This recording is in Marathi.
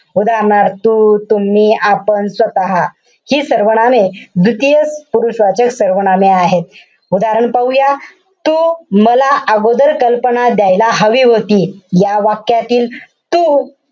उदाहरणार्थ तू, तुम्ही, आपण, स्वतः. हि सर्वनामे द्वितीय पुरुषवाचक सर्वनामे आहेत. उदाहरण पाहूया. तू मला अगोदर कल्पना द्यायला हवी होती. या वाक्यातील तू,